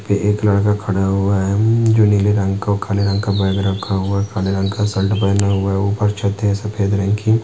एक लड़का खड़ा हुआ है जो नीले रंग का और काले रंग का बैग रखा हुआ है। काले रंग के शर्ट पहना हुआ है उपर छथ है सफ़ेद रंग की।